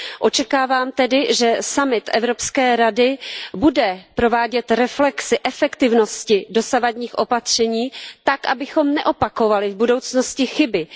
Očekávám tedy, že summit Evropské rady bude provádět reflexi efektivnosti dosavadních opatření tak, abychom neopakovali v budoucnosti chyby.